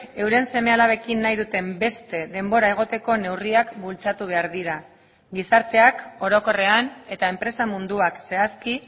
euren seme alabekin nahi duten beste denbora egoteko neurriak bultzatu behar dira gizarteak orokorrean eta enpresa munduak zehazki